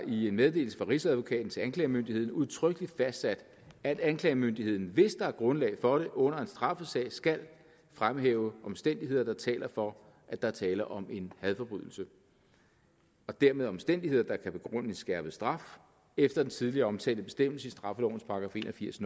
i meddelelse fra rigsadvokaten til anklagemyndigheden udtrykkeligt fastsat at anklagemyndigheden hvis der er grundlag for det under en straffesag skal fremhæve omstændigheder der taler for at der er tale om en hadforbrydelse og dermed omstændigheder der kan begrundes i skærpet straf efter den tidligere omtalte bestemmelse i straffelovens § en og firs